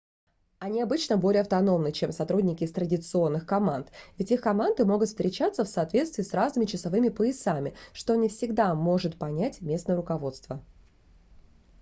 они обычно более автономны чем сотрудники из традиционных команд ведь их команды могут встречаться в соответствии с разными часовыми поясами что не всегда может понять местное руководство